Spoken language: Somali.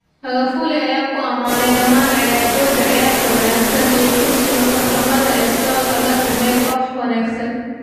Magufuli ayaa ku amaanay dhamaan ciyaartoyda ciyaarta wanaagsan iyo kursiga farsamada ee soo agaasimay koox wanaagsan.